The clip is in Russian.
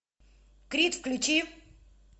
крик включи